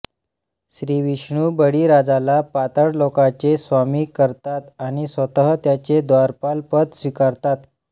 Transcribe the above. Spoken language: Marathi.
श्रीविष्णू बळीराजाला पाताळलोकाचे स्वामी करतात आणि स्वतः त्याचे द्वारपालपद स्वीकारतात